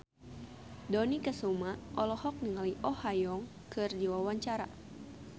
Dony Kesuma olohok ningali Oh Ha Young keur diwawancara